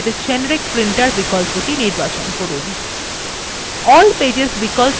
এখানে general ট্যাবের generic printer বিকল্পটি নির্বাচন করুন